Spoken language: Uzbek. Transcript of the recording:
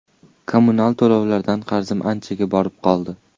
Kommunal to‘lovlardan qarzim anchaga borib qoldi.